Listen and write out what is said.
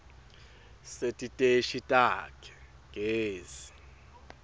setiteshi takhe tagezi